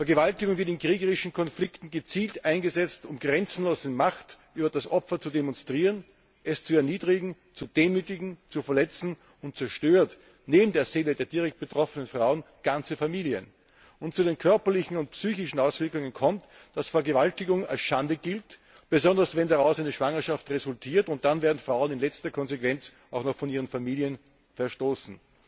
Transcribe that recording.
Vergewaltigung wird in kriegerischen Konflikten gezielt eingesetzt, um grenzenlose Macht über das Opfer zu demonstrieren, es zu erniedrigen, zu demütigen, zu verletzen, und zerstört neben der Seele der direkt betroffenen Frauen ganze Familien. Und zu den körperlichen und psychischen Auswirkungen kommt, dass Vergewaltigung als Schande gilt, besonders wenn daraus eine Schwangerschaft resultiert, und dann werden Frauen in letzter Konsequenz auch noch von ihren Familien verstoßen.